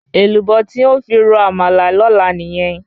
Èlùbọ́ tí n̄ ó fi ro àmàlà lọ́la nìyẹn.